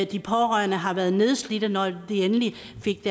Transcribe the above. de pårørende har været nedslidte når de endelig fik